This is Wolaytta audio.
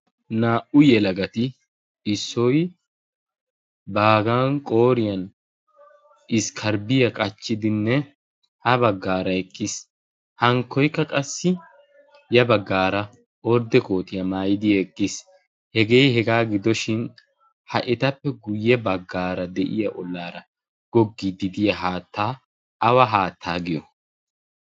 naa''u yelagati issoy baagan qooriyan iskkaribiyaa qachchidinne ha baggaara eqqiis hankkoikka qassi ya baggaara ordde kootiyaa maayidi eqqiis hegee hegaa gidoshin ha etappe guyye baggaara de'iya ollaara goggidi diya haattaa awa haattaa giyo